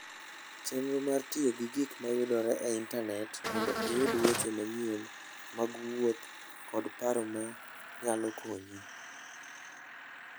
Chenro mar tiyo gi gik ma yudore e Intanet mondo iyud weche manyien mag wuoth kod paro manyalo konyi.